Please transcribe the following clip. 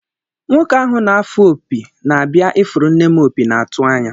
Nwoke ahụ na-afụ opi na-abịa ifuru nne m opi na-atụ anya